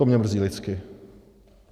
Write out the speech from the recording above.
To mě mrzí lidsky.